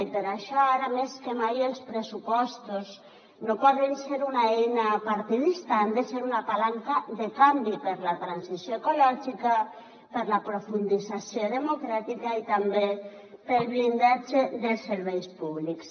i per això ara més que mai els pressupostos no poden ser una eina partidista han de ser una palanca de canvi per a la transició ecològica per a la profundització democràtica i també per al blindatge dels serveis públics